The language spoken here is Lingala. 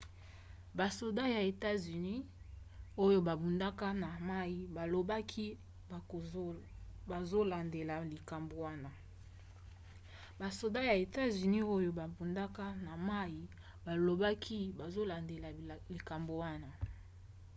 basoda ya etats-unis oyo babundaka na mai balobaki bazolandela likambo wana